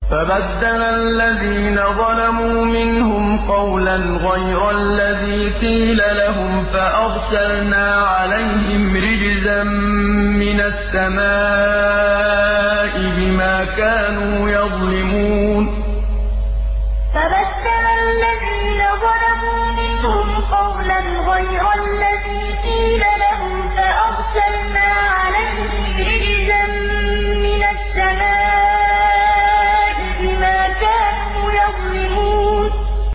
فَبَدَّلَ الَّذِينَ ظَلَمُوا مِنْهُمْ قَوْلًا غَيْرَ الَّذِي قِيلَ لَهُمْ فَأَرْسَلْنَا عَلَيْهِمْ رِجْزًا مِّنَ السَّمَاءِ بِمَا كَانُوا يَظْلِمُونَ فَبَدَّلَ الَّذِينَ ظَلَمُوا مِنْهُمْ قَوْلًا غَيْرَ الَّذِي قِيلَ لَهُمْ فَأَرْسَلْنَا عَلَيْهِمْ رِجْزًا مِّنَ السَّمَاءِ بِمَا كَانُوا يَظْلِمُونَ